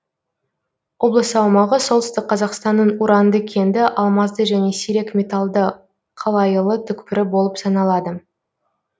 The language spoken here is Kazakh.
облыс аумағы солтүстік қазақстанның уранды кенді алмазды және сирек металлды қалайылы түкпірі болып саналады